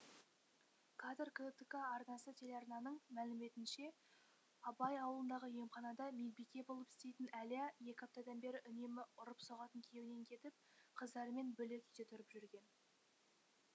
кадр ктк арнасы телеарнаның мәліметінше абай ауылындағы емханада медбике болып істейтін әлия екі аптадан бері үнемі ұрып соғатын күйеуінен кетіп қыздарымен бөлек үйде тұрып жүрген